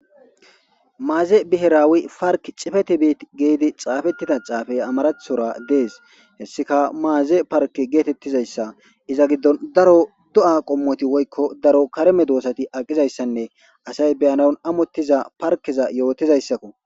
Maaze biheraawi park cifetibiit geedi xaafettida caafey amarathora dees hessika maaze parke geetettizayssa iza giddon daro do'a qommoti woykko daro kareme doosati aqizayssanne asay beyanaun amottiza parkeza yootizayssakko